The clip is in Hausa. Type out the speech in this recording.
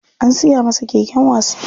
An siya masa keken wasa.